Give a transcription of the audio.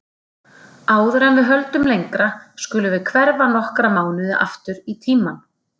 Áður en við höldum lengra skulum við hverfa nokkra mánuði aftur í tímann.